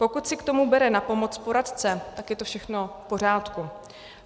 Pokud si k tomu bere na pomoc poradce, tak je to všechno v pořádku.